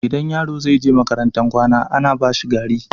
Idan yaro zai je makarantar kwana, ana bashi gari.